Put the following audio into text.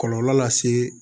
Kɔlɔlɔ lase